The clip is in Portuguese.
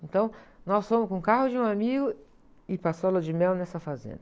Então, nós fomos com o carro de um amigo e passou aula de mel nessa fazenda.